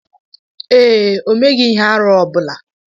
Ee e, o meghị ihe arụ ọ bụla.